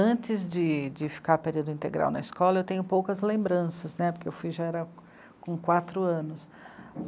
Antes de, de ficar período integral na escola, eu tenho poucas lembranças né, porque eu fui já era com quatro anos.